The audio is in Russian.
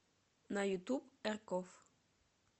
на ютуб эркофф